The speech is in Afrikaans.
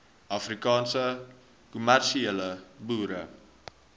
afrikaanse kommersiële boere